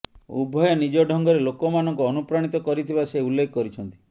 ଉଭୟେ ନିଜ ଢଙ୍ଗରେ ଲୋକମାନଙ୍କୁ ଅନୁପ୍ରାଣିତ କରିଥିବା ସେ ଉଲ୍ଲେଖ କରିଛନ୍ତି